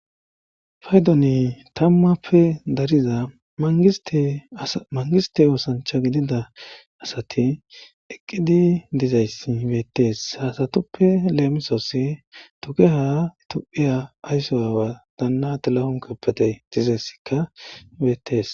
faydoni tammappe dariza mangiste oosancha gidida asati eqqidi dizayssi beettees haasatuppe leemisooss tuke ha tophiya aysso aawa danna tilahun keppete dizessikka beettees